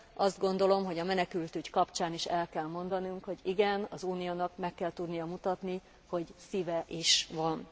Azt gondolom, hogy a menekültügy kapcsán is el kell mondanunk, hogy igen, az Uniónak meg kell tudnia mutatni, hogy szíve is van.